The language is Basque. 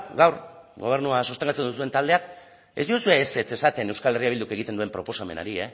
gaur gobernua sostengatzen duzuen taldea ez diozue ezetz esaten euskal herria bilduk egiten duen proposamenari